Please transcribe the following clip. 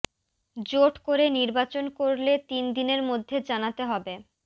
জোট করে নির্বাচন করলে তিন দিনের মধ্যে জানাতে হবে